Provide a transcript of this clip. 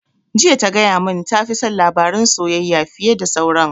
Jiya ta gaya mun ta fi son labaran soyayya fiye da sauran